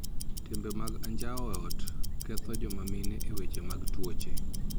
Timbe mag anjao e ot ketho joma mine e weche mag tuoche.